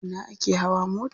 A ina ake hawa mota?